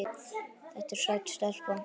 Þetta er sæt stelpa.